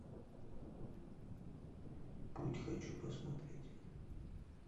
путь хочу посмотреть